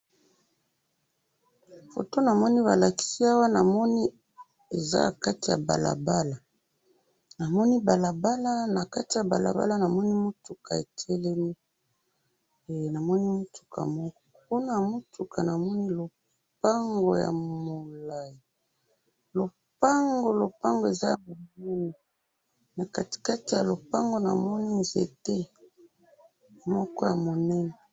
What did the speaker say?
Foto namoni balakisi awa, namoni eza nakati yabalabala, namoni balabala, nakati ya balabala namoni mutuka etelemi, eh namoni mutuka moko, kunaya mutuka namoni lopango ya mulayi, lopango, lopango eza ya munene, na katikati ya lopangu namoni nzete ya munene